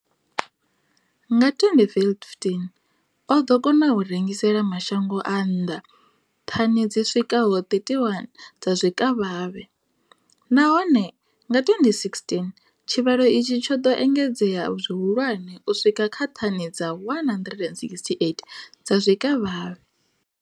Nga 2015, o ḓo kona u rengisela mashango a nnḓa thani dzi swikaho 31 dza zwikavhavhe, nahone nga 2016 tshivhalo itshi tsho ḓo engedzea zwihulwane u swika kha thani dza 168 dza zwikavhavhe.